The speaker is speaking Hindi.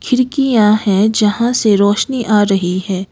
खिड़कियां है जहां से रोशनी आ रही है।